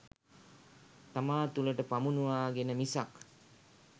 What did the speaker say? තමා තුළට පමුණුවාගෙන මිසක්